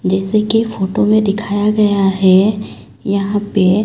जैसे कि फोटो में दिखाया गया है यहां पे--